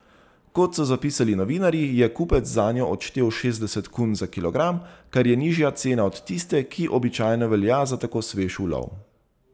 Kot so zapisali novinarji, je kupec zanjo odštel šestdeset kun za kilogram, kar je nižja cena od tiste, ki običajno velja za tako svež ulov.